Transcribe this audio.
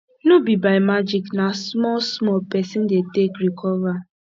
no be by magic na small small pesin dey take recover